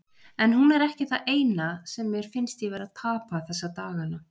En hún er ekki það eina, sem mér finnst ég vera að tapa þessa daga.